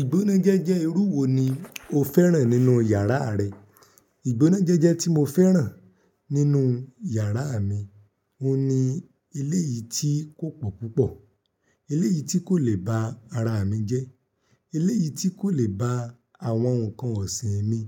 Ìgbónájẹjẹ irú wo ni o fẹ́ràn nínú yàrá rẹ? Ìgbónájẹjẹ tí mo fẹ́ràn nínú yàrá mi, òun ni eléyìí tí kò pọ̀ púpọ̀, eléyìí tí kò le ba ara mi jẹ, eléyìí tí kò le ba àwọn nǹkan ọ̀sìn mi